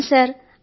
అవును సర్